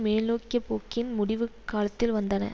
மேல்நோக்கிய போக்கின் முடிவுக்காலத்தில் வந்தன